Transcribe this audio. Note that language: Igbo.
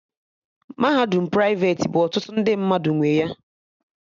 Mahadum praiveti bụ ọtụtụ ndị mmadụ nwe ya